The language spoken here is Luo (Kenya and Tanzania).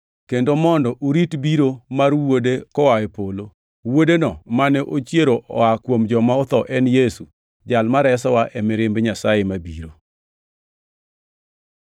kendo mondo urit biro mar Wuode koa e polo. Wuodeno mane ochiero oa kuom joma otho en Yesu, Jal ma resowa e mirimb Nyasaye mabiro.